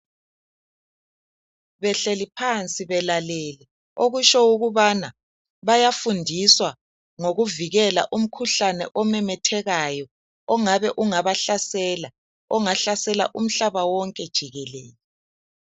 Behleli phansi belalele okusho ukubana bayafundiswa ngokuvikela umkhuhlane omemethekeyo ongabe ungabahlasela ongahlasela umhlaba wonke jikelele